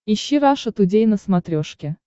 ищи раша тудей на смотрешке